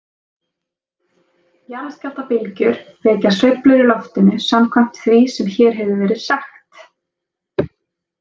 Jarðskjálftabylgjur vekja sveiflur í loftinu samkvæmt því sem hér hefur verið sagt.